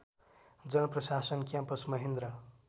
जनप्रशासन campus Mahendra